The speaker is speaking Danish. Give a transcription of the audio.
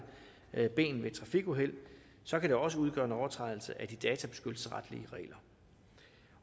et ben ved et trafikuheld så kan det også udgøre en overtrædelse af de databeskyttelsesretlige regler